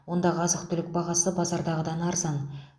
ондағы азық түлік бағасы базардағыдан арзан